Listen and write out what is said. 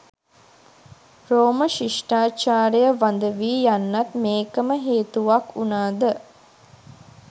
රෝම ශිෂ්ටාචාරය වඳ වී යන්නත් මේකම හේතුවක් වුනාද